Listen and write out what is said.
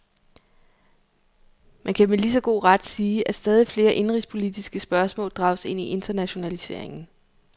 Man kan med lige så god ret sige, at stadigt flere indenrigspolitiske spørgsmål drages ind i internationaliseringen.